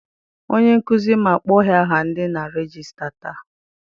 Onye nkụzi m akpọghi aha dị na regista taa.